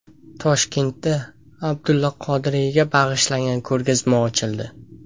Toshkentda Abdulla Qodiriyga bag‘ishlangan ko‘rgazma ochildi.